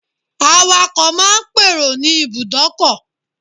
Awakọ̀ máa n pèrò ní Ibùdọ́kọ̀